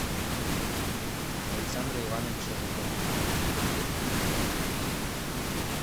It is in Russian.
александра ивановича жукова